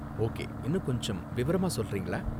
Okay, இன்னும் கொஞ்சம் விவரமா சொல்றீங்களா?